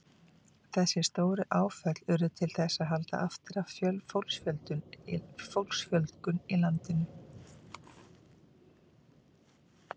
Þessi stóru áföll urðu til þess að halda aftur af fólksfjölgun í landinu.